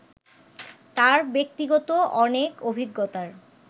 তাঁর ব্যক্তিগত অনেক অভিজ্ঞতার